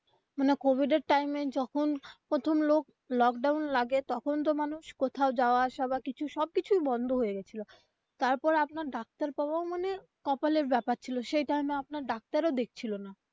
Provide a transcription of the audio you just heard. মানে কোভিড এর time এ যখন প্রথম lock down লাগে তখন তো মানুষ কোথাও যাওয়া আসা বা কিছু সব কিছুই বন্ধ হয়ে গেছিলো তারপর আপনার ডাক্তার পাওয়াও মানে কপালের ব্যাপার ছিল সেই time এ আপনার ডাক্তার ও দেখছিলো না.